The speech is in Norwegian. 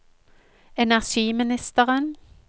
energiministeren